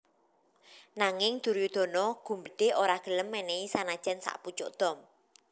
Nanging Duryudana gumbedhe ora gelem menehi sanajan sakpucuk dom